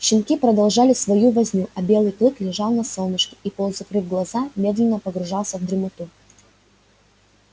щенки продолжали свою возню а белый клык лежал на солнышке и полузакрыв глаза медленно погружался в дремоту